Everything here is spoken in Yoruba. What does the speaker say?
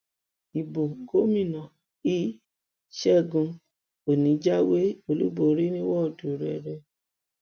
ibo gómìnà l ṣẹgun òní jáwé olúborí ní wọọdù rẹ rẹ